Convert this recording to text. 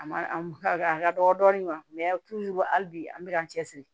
A ma a ka dɔgɔ dɔɔni hali bi an bɛ ka an cɛ siri